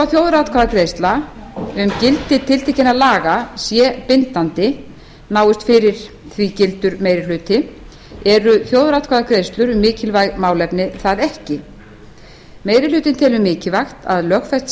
þjóðaratkvæðagreiðsla um gildi tiltekinna laga sé bindandi náist fyrir því gildur meiri hluti eru þjóðaratkvæðagreiðslur um mikilvæg málefni það ekki meiri hlutinn telur mikilvægt að lögfest